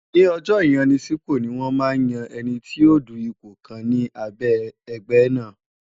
Ní ọjọ́ ìyanisípò ni wọ́n máa ń yan ẹni tí yóò du ipò kan ni abẹ́ ẹgbẹ́ náà.